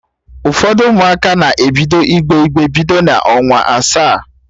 Ụfọdụ Ụmụaka na-ebido igbe igbe bido n'ọnwa asaa